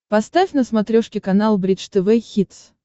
поставь на смотрешке канал бридж тв хитс